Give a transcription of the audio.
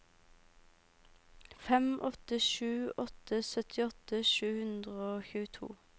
fem åtte sju åtte syttiåtte sju hundre og tjueto